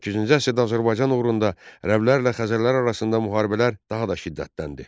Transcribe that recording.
Səkkizinci əsrdə Azərbaycan uğrunda ərəblərlə Xəzərlər arasında müharibələr daha da şiddətləndi.